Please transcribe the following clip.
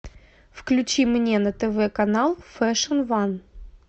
включи мне на тв канал фэшн ван